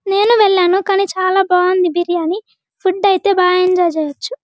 నేను వెళ్ళాను కాని చాలా బాగుంది బిర్యానీ ఫుడ్ అయితే బాగా ఎంజాయ్ చెయ్యొచ్చు.